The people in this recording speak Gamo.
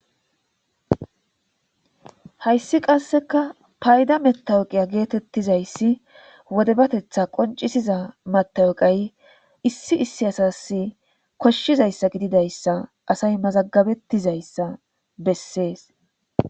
hayssi qasseka payda metawoqiya geetettizayssi wodebatetha qoncisiza matawoqay issi issi asas koshshizayssa gididayssa asay mazagabettizayssa bessees